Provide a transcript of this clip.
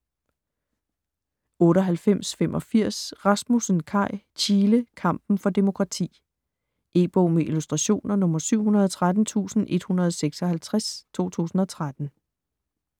98.85 Rasmussen, Kai: Chile - kampen for demokrati E-bog med illustrationer 713156 2013.